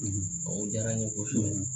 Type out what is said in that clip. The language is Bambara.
O jara n ye kosɛbɛ